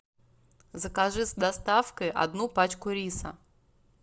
закажи с доставкой одну пачку риса